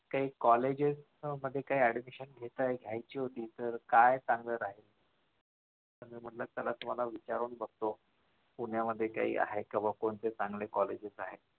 काही कॉलेजेस मध्ये काय admission घेत आहेत actually तर काय सांगत आहेत म्हणून म्हटलं चला तुम्हाला विचारून बघतो पुण्यामध्ये काही आहे का बुवा कोणते चांगले कॉलेजेस आहेत.